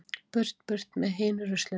Burt burt með hinu ruslinu.